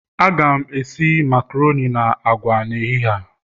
Aga m esi makaroni na agwa n'ehihie a